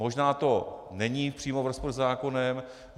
Možná to není přímo v rozporu se zákonem.